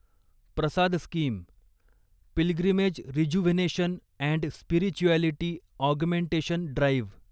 Prasad scheme pilgrimage rejuvenation and spirituality augmentation drive